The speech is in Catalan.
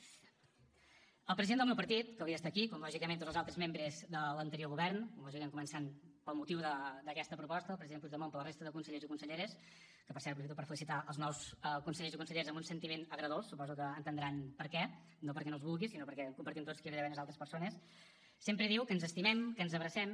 el president del meu partit que hauria d’estar aquí com lògicament tots els altres membres de l’anterior govern com lògicament començant pel motiu d’aquesta proposta el president puigdemont però també la resta de consellers i conselleres que per cert aprofito per felicitar els nous consellers i conselleres amb un sentiment agredolç suposo que deuen entendre per què no perquè no els vulgui sinó perquè compartim tots que hi hauria d’haver unes altres persones sempre diu que ens estimem que ens abracem